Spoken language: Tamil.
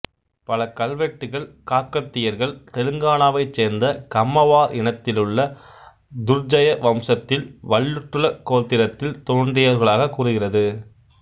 பல கல்வெட்டுகள் காக்கத்தியர்கள் தெலுங்கானாவைச் சேர்ந்த கம்மவார் இனத்திலுள்ள துர்ஜய வம்சத்தில் வல்லுட்டுல கோத்திரத்தில் தோன்றியவர்களாக கூறுகிறது